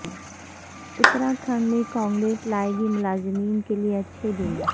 اتراکھنڈ میں کانگریس لائے گی ملازمین کیلئے اچھے دن